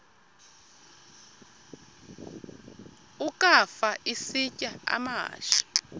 ukafa isitya amahashe